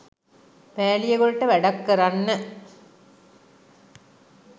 පෑලියගොඩට වැඩක් කරන්න.